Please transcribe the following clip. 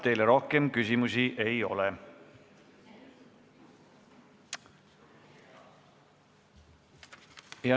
Teile rohkem küsimusi ei ole.